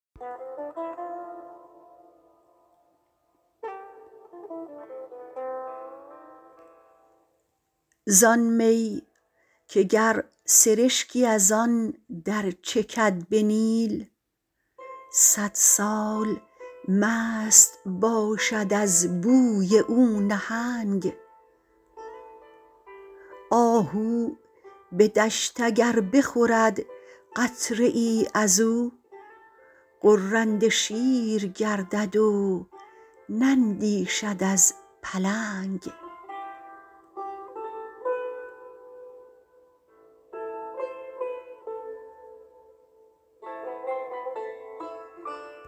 زان می که گر سرشکی از آن درچکد به نیل صدسال مست باشد از بوی او نهنگ آهو به دشت اگر بخورد قطره ای ازو غرنده شیر گردد و نندیشد از پلنگ